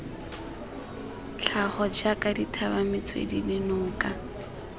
tlhago jaaka dithaba metswedi dinoka